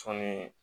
Sɔɔni